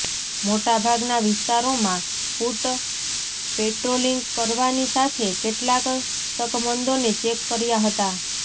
મોટાભાગના વિસ્તારોમાં foot patrolling કરવાની સાથે કેટલાક શકમંદોને ચેક કર્યા હતા